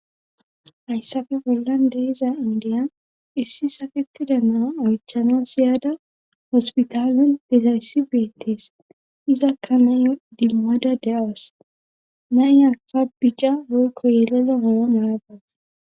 hayssafe bollan deiza indiya issi saketida naa oychana siyaada hospitalen dezayssi beettees izakka nayyo dimmada de7awas naynaka bicca hoykko yelela mana maadas